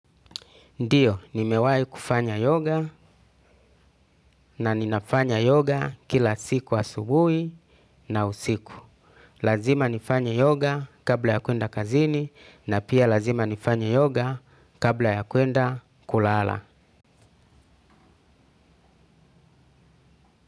Ndiyo, nimewai kufanya yoga na ninafanya yoga kila siku wa asubui na usiku. Lazima nifanya yoga kabla ya kuenda kazini na pia lazima nifanya yoga kabla ya kuenda kulala.